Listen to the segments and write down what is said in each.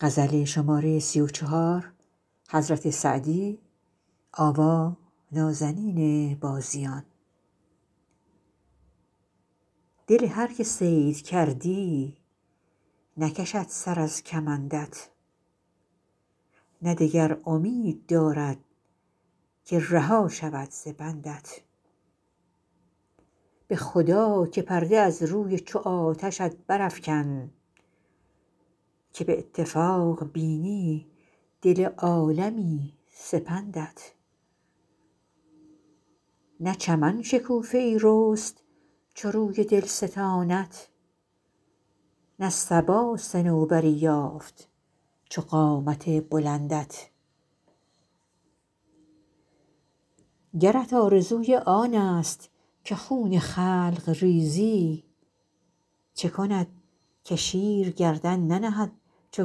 دل هر که صید کردی نکشد سر از کمندت نه دگر امید دارد که رها شود ز بندت به خدا که پرده از روی چو آتشت برافکن که به اتفاق بینی دل عالمی سپندت نه چمن شکوفه ای رست چو روی دلستانت نه صبا صنوبری یافت چو قامت بلندت گرت آرزوی آنست که خون خلق ریزی چه کند که شیر گردن ننهد چو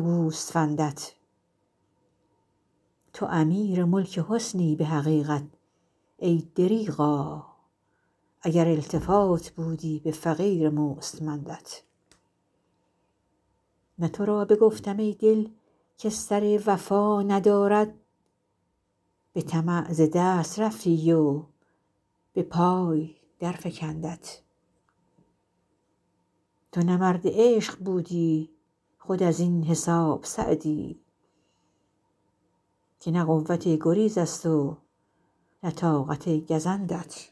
گوسفندت تو امیر ملک حسنی به حقیقت ای دریغا اگر التفات بودی به فقیر مستمندت نه تو را بگفتم ای دل که سر وفا ندارد به طمع ز دست رفتی و به پای درفکندت تو نه مرد عشق بودی خود از این حساب سعدی که نه قوت گریزست و نه طاقت گزندت